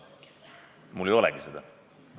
Mul ei olegi seda.